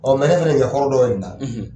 ne fɛnɛ hɔrɔn dɔ in da